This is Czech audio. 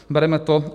Bereme to.